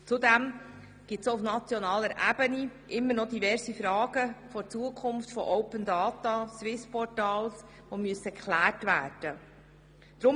Zudem gibt es auch auf nationaler Ebene diverse Fragen zur Zukunft von Open Data und Swiss Portal, die geklärt werden müssen.